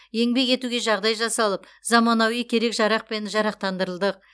еңбек етуге жағдай жасалып заманауи керек жарақпен жарақтандырылдық